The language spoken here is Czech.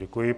Děkuji.